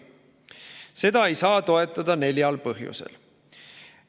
Seda ei saa toetada neljal põhjusel.